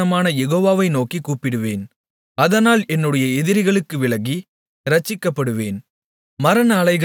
துதிக்குக் காரணரான யெகோவாவை நோக்கிக் கூப்பிடுவேன் அதனால் என்னுடைய எதிரிகளுக்கு விலக்கி இரட்சிக்கப்படுவேன்